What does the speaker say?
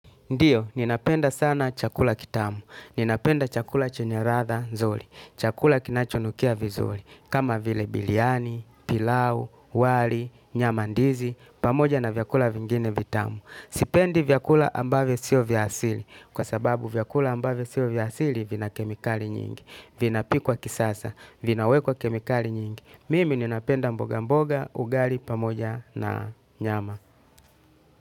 Ndiyo, ninapenda sana chakula kitamu. Ninapenda chakula chenye ladha nzuri. Chakula kinachonukia vizuri kama vile biriani, pilau, wali, nyamandizi, pamoja na vyakula vingine vitamu. Sipendi vyakula ambavyo sio vya asili. Kwa sababu vyakula ambavyo sio vya asili vina kemikali nyingi. Vinapikwa kisasa, vinawekwa kemikali nyingi. Mimi ninapenda mboga mboga, ugali, pamoja na nyama.